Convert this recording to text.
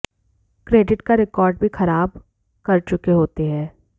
credit का record भी खराब कर चुके होते हैं